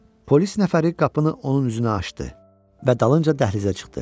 Polis nəfəri qapını onun üzünə açdı və dalınca dəhlizə çıxdı.